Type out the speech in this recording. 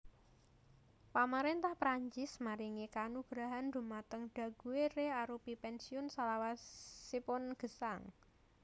Pamaréntah Prancis maringi kanugrahan dhumateng Daguerre arupi pènsiun salawasipun gesang